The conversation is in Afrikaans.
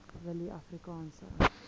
willieafrikaanse